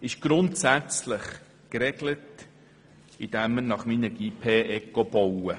Die Auflagen 1 und 2 sind grundsätzlich geregelt, indem wir nach Minergie-P-ECO bauen.